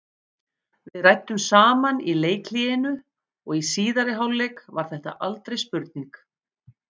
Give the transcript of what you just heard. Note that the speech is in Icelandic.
Við ræddum saman í leikhléinu og í síðari hálfleik var þetta aldrei spurning.